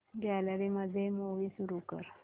gallery मध्ये movie सुरू कर